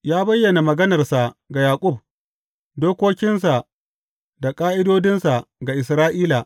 Ya bayyana maganarsa ga Yaƙub, dokokinsa da ƙa’idodinsa ga Isra’ila.